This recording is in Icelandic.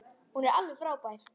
Hún er alveg frábær.